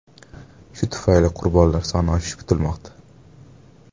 Shu tufayli qurbonlar soni oshishi kutilmoqda.